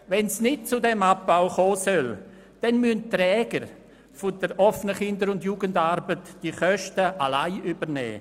Wenn es nicht zum diesem Abbau kommen soll, müssen die Träger der OKJA die Kosten alleine übernehmen.